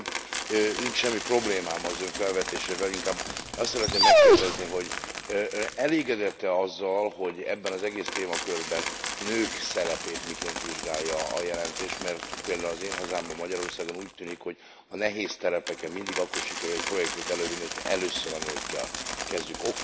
Bár nincs semmi problémám az Ön felvetésével, inkább azt szeretném megkérdezni, hogy elégedett e azzal, hogy ebben az egész témakörben a nők szerepét miként vizsgálja a jelentés, mert például az én hazámban, Magyarországon úgy tűnik, hogy a nehéz terepeken mindig akkor sikerül egy projektet elővinni, hogy ha először a nőkkel kezdjük.